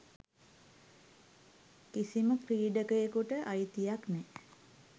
කිසිම ක්‍රීඩකයෙකුට අයිතියක් නෑ.